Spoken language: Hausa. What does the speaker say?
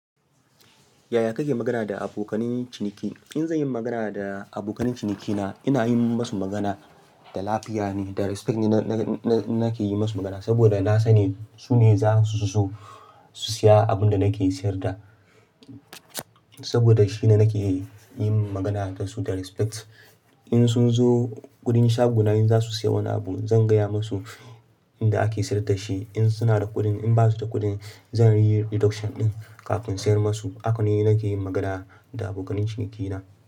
Yaya kake magana da abokanen ciniki? In zanyi magana da abokan cinikina, ina yi musu magana da lafiya ne, da respect ne nake yi musu magana. Saboda na sani sune zasu zo su siya abinda nake siyarda. Saboda shine nake yin magana da su da respect. In sun zo gurin shagona, in za su siyo wani abu, zan gaya musu inda ake sayar da shi in suna da kuɗin. In ba su da kuɗin zan yi reduction ɗin kafin siyar musu. Haka ne nake yin magana da abokanen cinikina.